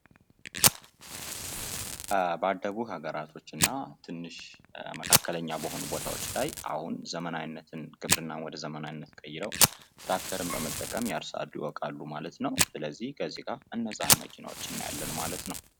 የግብርና ቴክኖሎጂ አጠቃቀም እንደ ድሮኖችና ሴንሰሮች ምርትን በመጨመርና ወጪን በመቀነስ እገዛ ያደርጋል።